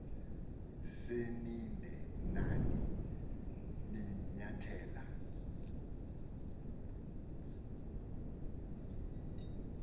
senide nani nanyathela